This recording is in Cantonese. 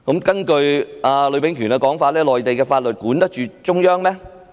根據呂秉權的說法，內地法律管得到中央嗎？